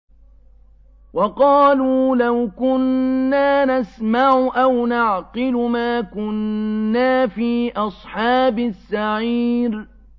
وَقَالُوا لَوْ كُنَّا نَسْمَعُ أَوْ نَعْقِلُ مَا كُنَّا فِي أَصْحَابِ السَّعِيرِ